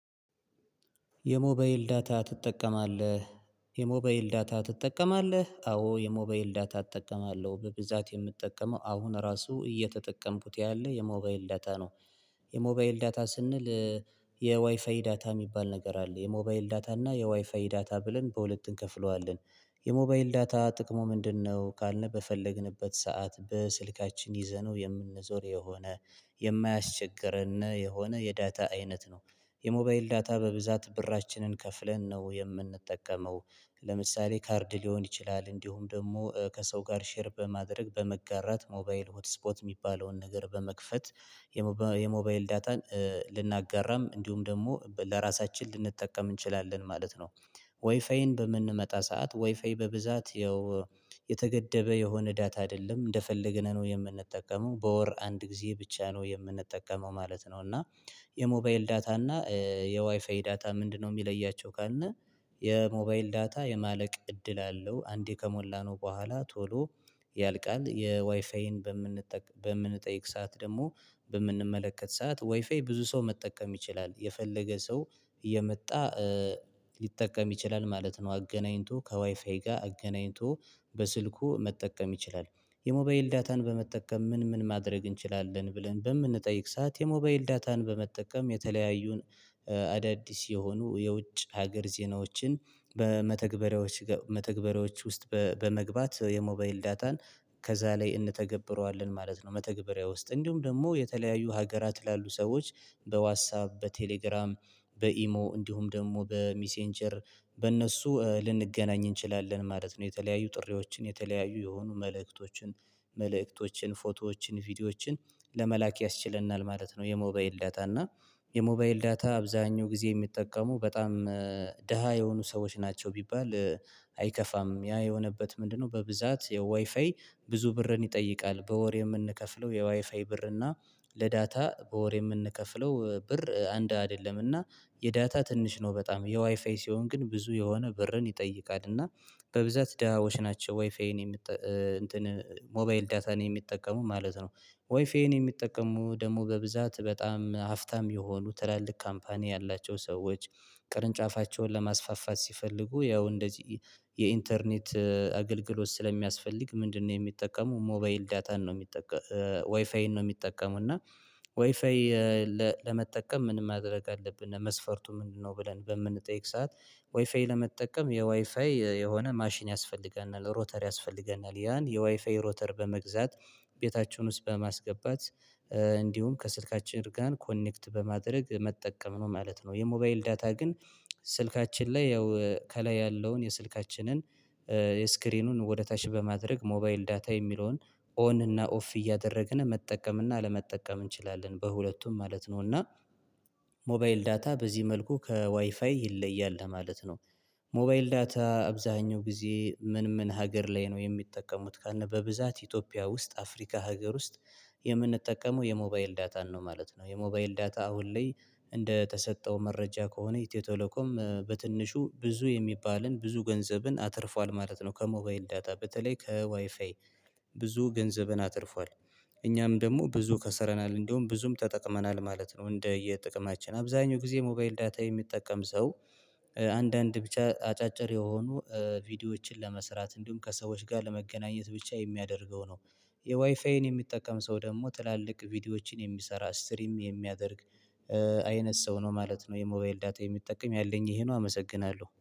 የሞባይል ዳታ ትጠቀማለህ የሞባይል ዳታ ትጠቀማለህ? አዎ የሞባይል ዳታ እጠቀማለሁ በብዛት የምጠቀመው አሁን ራሱ እየተጠቀምኩት ያለ የሞባይል ዳታ ነው። የሞባይል ዳታ ስንል። የዋይፋይ ዳታ የሚባል ነገር አለ የሞባይል ዳታ እና የዋይፋይ ዳታ ብለን በሁለት እንከፍለዋለን። የሞባይል ዳታ ጥቅሙ ምንድነው? ካልን በፈለግንበት ሰዓት በስልካችን ይዘነው የምንዞር የሆነ የማያስቸግርና የሆነ የዳታ አይነት ነው የሞባይል ዳታ በብዛት ብራችንን ከፍለን ነው የምንጠቀመው። ለምሳሌ ካርድ ሊሆን ይችላል እንዲሁም ደግሞ ከሰው ጋር ሼር በማድረግ በመጋራት ሞባይል ሆት ስፖት የሚባለውን ነገር በመክፈት። የሞባይል ዳታን ልናጋራም እንዲሁም ደግሞ ለራሳችን ልንጠቀም እንችላለን ማለት ነው። ወይፋይን በምንመጣ ሰዓት ዋይፋይ በብዛት ያው የተገደበ የሆነ ዳታ አይደለም እንደፈለግነው ነው የምንጠቀመው በወር አንድ ጊዜ ብቻ ነው የምንጠቀመው ማለት ነው። እና የሞባይል ዳታ እና የዋይፋይ ዳታ ምንድነው? የሚለያቸው ካልነ። የሞባይል ዳታ የማለቅ እድል አለው አንዴ ከሞላነው በኋላ ቶሎ ያልቃል። የዋይፋይን በምንጠይቅ ሰዓት ደግሞ በምንመለከት ሰዓት ዋይፋይ ብዙ ሰው መጠቀም ይችላል የፈለገ ሰው እየመጣ ሊጠቀም ይችላል ማለት ነው። አገናኝቶ ከዋይፋይ ጋር አገናኝቶ በስልኩ መጠቀም ይችላል። የሞባይል ዳታን በመጠቀም ምን ምን ማድረግ እንችላለን ብለን በምንጠይቅ ሰዓት። የሞባይል ዳታን በመጠቀም የተለያዩን አዳዲስ የሆኑ የውጭ ሀገር ዜናዎችን በመተግበሪያዎች መተግበሪያዎች ውስጥ በመግባት የሞባይል ዳታን ከዛ ላይ እንተገብረዋለን ማለት ነው። መተግበሪያ ውስጥ እንዲሁም ደግሞ የተለያዩ ሀገራት ላሉ ሰዎች በዋታፕ በቴሌግራም በኢሞ እንዲሁም ደግሞ በሚሴንጀር በእነሱ ልንገናኝ እንችላለን ማለት ነው። የተለያዩ ጥሪዎችን የተለያዩ የሆኑ መልእክቶችን መልእክቶችን ፎቶዎችን ቪዲዮዎችን ለመላክ ያስችለናል ማለት ነው። የሞባይል ዳታ እና። የሞባይል ዳታ አብዛኛው ጊዜ የሚጠቀሙ በጣም ደሃ የሆኑ ሰዎች ናቸው ቢባል አይከፋም ያ የሆነበት ምንድነው? በብዛት የዋይፋይ ብዙ ብርን ይጠይቃል በወር የምንከፍለው የዋይፋይ ብር እና ለዳታ በወር የምንከፍለው ብር አንድ አይደለምና የዳታ ትንሽ ነው። በጣም የዋይፋይ ሲሆን ግን ብዙ የሆነ ብርን ይጠይቃልና እና በብዛት ዳሃዎች ናቸው ወይፋዬን የምት እንትን ሞባይል ዳታን የሚጠቀሙ ማለት ነው። ዋይፋይ የሚጠቀሙ ደግሞ በብዛት በጣም አፍታም የሆኑ ትላልቅ ካምፓኒ ያላቸው ሰዎች ቅርንጫፋቸውን ለማስፋፋት ሲፈልጉ ያው እንደዚህ የኢንተርኔት አገልግሎት ስለሚያስፈልግ ምንድነው? የሚጠቀሙ ሞባይል ዳታን ነው የሚጠቀሙ ወይፋይን ነው የሚጠቀሙ እና። ወይፋይ ለመጠቀም ምንም ማድረግ አለብን ለመስፈርቱ ምንድነው? ብለን በምንጠይቅ ሰዓት ወይፋይ ለመጠቀም የወይፋይ የሆነ ማሽን ያስፈልገናል ሮተር ያስፈልገናል ያን የዋይፋይ ሮተር በመግዛት ቤታችሁን ውስጥ በማስገባት እንዲሁም ከስልካችን ጋር ኮኔክት በማድረግ መጠቀም ነው ማለት ነው። የሞባይል ዳታ ግን ስልካችን ላይ ያው ከላይ ያለውን የስልካችንን የስክሪኑን ወደ ታች በማድረግ ሞባይል ዳታ የሚለውን ኦን እና ኦፍ እያደረግን መጠቀም እና አለመጠቀም እንችላለን በሁለቱም ማለት ነው። እና ሞባይል ዳታ በዚህ መልኩ ከዋይፋይ ይለያል ማለት ነው። ሞባይል ዳታ አብዛኛው ጊዜ ምን ምን ሀገር ላይ ነው የሚጠቀሙት ካልነበ? በብዛት ኢትዮጵያ ውስጥ አፍሪካ ሀገር ውስጥ የምንጠቀመው የሞባይል ዳታን ነው ማለት ነው። የሞባይል ዳታ አሁን ላይ እንደተሰጠው መረጃ ከሆነ ኢትዮቴሌኮም በትንሹ ብዙ የሚባልን ብዙ ገንዘብን አትርፏል ማለት ነው። ከሞባይል ዳታ በተለይ ከዋይፋይ ብዙ ገንዘብን አትርፏል። እኛም ደግሞ ብዙ ከሰረናል እንደውም ብዙም ተጠቅመናል ማለት ነው። እንደየጥቅማችን አብዛኛው ጊዜ ሞባይል ዳታ የሚጠቀም ሰው አንዳንድ ብቻ አጫጭር የሆኑ ቪዲዮዎችን ለመስራት እንዲሁም ከሰዎች ጋር ለመገናኘት ብቻ የሚያደርገው ነው። የዋይፋይን የሚጠቀም ሰው ደግሞ ትላልቅ ቪዲዮዎችን የሚሰራ ስትሪም የሚያደርግ አይነት ሰው ነው ማለት ነው። የሞባይል ዳታ የሚጠቀም ያለኝ ይሄ ነው። አመሰግናለሁ